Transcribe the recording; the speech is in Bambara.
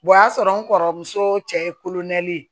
o y'a sɔrɔ n kɔrɔmuso cɛ ye kolonkɛli ye